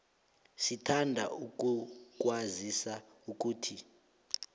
sithanda ukukwazisa ukuthi